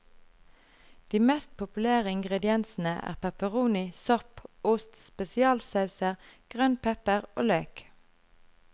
De mest populære ingrediensene er pepperoni, sopp, ost, spesialsauser, grønn pepper og løk.